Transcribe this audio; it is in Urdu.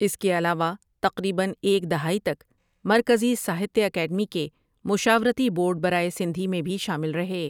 اس کے علاوہ تقریباً ایک دھائی تک مرکزی ساہتیہ اکیڈمی کے مشاورتی بورڈ برائے سندھی میں بھی شامل رہے ۔